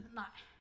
Nej